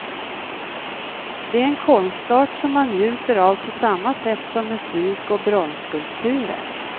Det är en konstart som man njuter av på samma sätt som musik och bronsskulpturer.